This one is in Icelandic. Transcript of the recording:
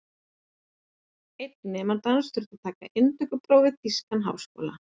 Einn nemandi hans þurfti að taka inntökupróf við þýskan háskóla.